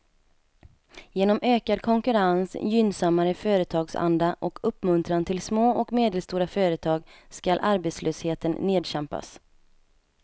Genom ökad konkurrens, gynnsammare företagsanda och uppmuntran till små och medelstora företag skall arbetslösheten nedkämpas.